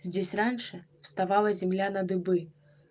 здесь раньше вставала земля на дыбы